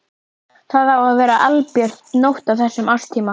Var þetta réttlætanlegur dómur?